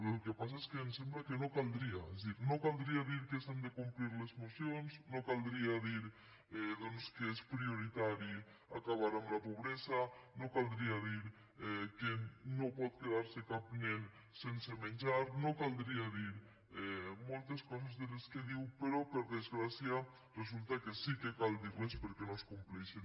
el que passa és que ens sembla que no caldria és a dir no caldria dir que s’han de complir les mocions no caldria dir doncs que és prioritari acabar amb la pobresa no caldria dir que no pot quedar se cap nen sense menjar no caldria dir moltes coses de les que diu però per desgràcia resulta que sí que cal dir les perquè no es compleixen